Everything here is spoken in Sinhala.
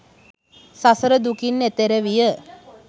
සසර දුකින් එතෙර විය